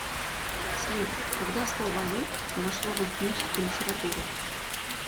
салют когда слово азот вошло в алхимическую литературу